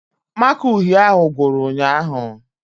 Màkà uhie ahụ gwụrụ ụnyaahụ